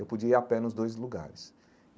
Eu podia ir a pé nos dois lugares.